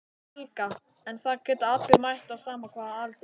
Helga: En það geta allir mætt á sama hvaða aldri?